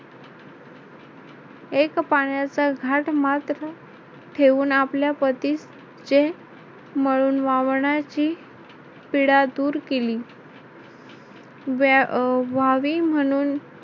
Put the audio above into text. एक पाण्याचा घाट मात्र ठेवून आपल्या पतीस जे मळून वावरण्याची पीडा दूर केली व्हावी म्हणून